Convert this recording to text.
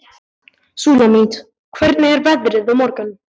Súlamít, hvernig er veðrið á morgun?